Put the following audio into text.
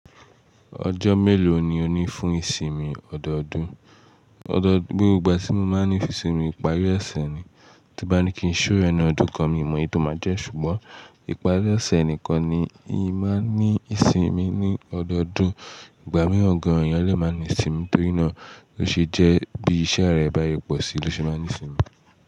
Ọjọ́ mélòó ni o ní fún ìsinmi ọdọọdún? Ọdọọdún, gbogbo ìgbà tí mo máa ń ní fún ìsinmi, ìparí ọ̀sẹ̀ ni. Tí n bá ní kí n ṣóò ẹ ni ọdún kan, mi mọ iye tó máa jẹ́ ṣùgbọ́n ìparí ọ̀sẹ̀ nìkan ni in máa ń ní ìsinmi ní ọdọọdún. Ìgbà mìíràn gan-an ènìyàn lẹ́ máa ń ní sinmi torí náà ló ṣe jẹ́ bí iṣẹ́ rẹ̀ bá yí pọ̀ si ló ṣe máa ní sinmi.